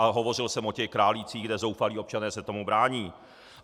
A hovořil jsem o těch Králíkách, kde zoufalí občané se tomu brání.